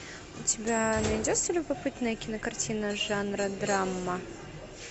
у тебя найдется любопытная кинокартина жанра драма